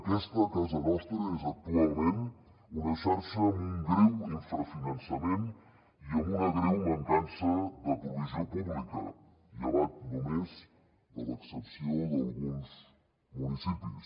aquesta a casa nostra és actualment una xarxa amb un greu infrafinançament i amb una greu mancança de provisió pública llevat només de l’excepció d’alguns municipis